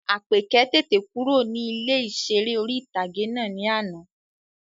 Àpèkẹ́ tètè kúrò ní ilé ìseré orí-ìtágé náà ní àná